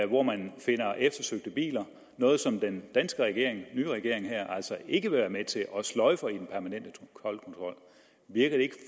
hvor man finder eftersøgte biler noget som den danske regering altså ikke vil være med til og sløjfer i den permanente toldkontrol virker det ikke